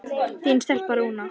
Þín stelpa, Rúna.